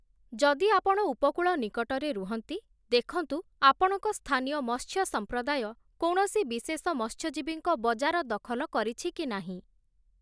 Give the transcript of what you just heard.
ଯଦି ଆପଣ ଉପକୂଳ ନିକଟରେ ରୁହନ୍ତି, ଦେଖନ୍ତୁ ଆପଣଙ୍କ ସ୍ଥାନୀୟ ମତ୍ସ୍ୟ ସମ୍ପ୍ରଦାୟ କୌଣସି ବିଶେଷ ମତ୍ସ୍ୟଜୀବୀଙ୍କ ବଜାର ଦଖଲ କରିଛି କି ନାହିଁ ।